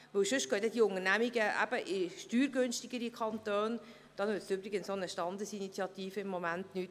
Sonst gehen diese Unternehmungen in steuergünstigere Kantone, da nützt übrigens auch eine Standesinitiative im Moment nichts.